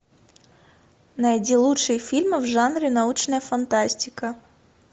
найди лучшие фильмы в жанре научная фантастика